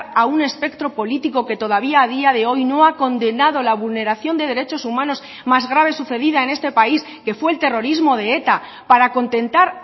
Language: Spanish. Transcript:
a un espectro político que todavía a día de hoy no ha condenado la vulneración de derechos humanos más graves sucedida en este país que fue el terrorismo de eta para contentar